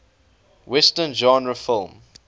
western genre film